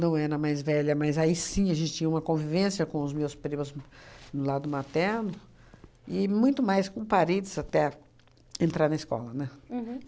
não era mais velha, mas aí sim a gente tinha uma convivência com os meus primos do lado materno e muito mais com o parentes até entrar na escola, né? Uhum